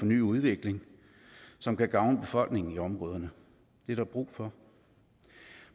ny udvikling som kan gavne befolkningen i området det er der brug for